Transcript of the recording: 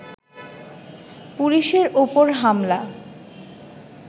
পুলিশের ওপর হামলা